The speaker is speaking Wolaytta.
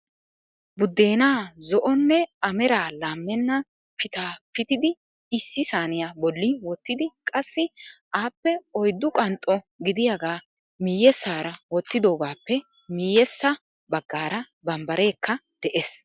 Budena zo'onne a meraa laamenna pitaa pitiddi issi saaniyaa bolli wottidi qassi appe oyddu qanxxo gidiyaaga miyyeessara wottidoogappe miyyeessa baggaara bambbarekka de'ees.